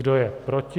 Kdo je proti?